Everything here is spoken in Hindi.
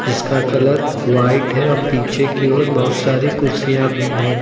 इसका कलर व्हाइट है और पीछे की ओर बहुत सारी कुर्सियां भी है।